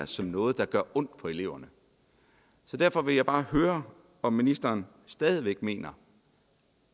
som noget der gør ondt på eleverne derfor vil jeg bare høre om ministeren stadig væk mener